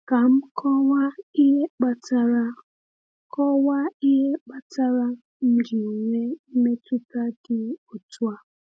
Kà m kọwaa ihe kpatara kọwaa ihe kpatara m ji nwee mmetụta dị otú a.